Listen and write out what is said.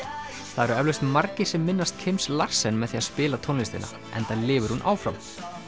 það eru eflaust margir sem minnast Kims Larsen með því að spila tónlistina enda lifir hún áfram